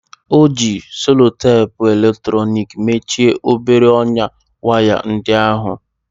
O ji selutepu eletrọnịki mechie obere ọnyá waya ndị ahụ.